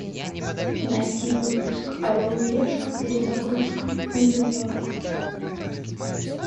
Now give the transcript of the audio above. найти выпуск орел и решка перезагрузка нью йорк